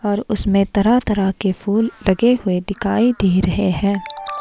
और उसमें तरह-तरह के फूल लगे हुए दिखाई दे रहे हैं।